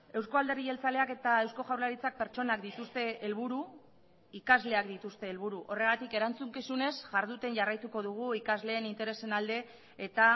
euzko alderdi jeltzaleak eta eusko jaurlaritzak pertsonak dituzte helburu ikasleak dituzte helburu horregatik erantzukizunez jarduten jarraituko dugu ikasleen interesen alde eta